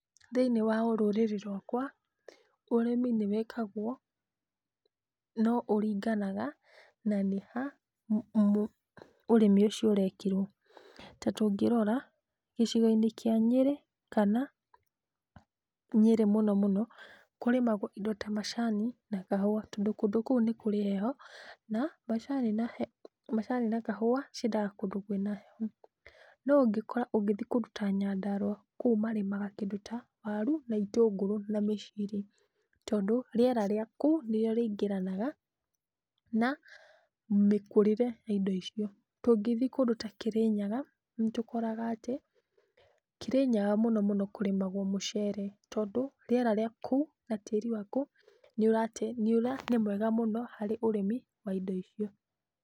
Thĩiniĩ wa ũrũrĩrĩ rwakwa ũrĩmi nĩ wĩkagwo no ũringanaga na nĩ ha ũrĩmi ũcio ũrekĩrwo. Ta tũngĩrora gicigo-inĩ kĩa Nyĩrĩ kana Nyĩrĩ mũno mũno kũrĩmagwo indo ta macani na kahũa tondũ kũndũ kũu nĩ kũrĩ heho na macani na kahũa ciendaga kũndũ kwĩna heho. No ũngĩkora ũgĩthiĩ kũndũ ta Nyandũara kũu marĩmaga kĩndũ ta waru na ĩtũngũrũ na mĩciri tondũ rĩera rĩa kũu nĩrĩo rĩingĩranaga na mĩkurĩre ya indo icio. Tũngĩthiĩ kũndũ ta Kĩrĩnyaga, nitũkoraga atĩ Kĩrĩnyaga mũno mũno kũrĩmagwo mũcere tondũ rĩera rĩa kũu na tĩĩri wa kũu nĩ ũrate nĩ mwega mũno harĩ ũrĩmi wa indo icio.